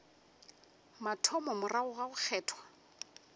mathomo morago ga go kgethwa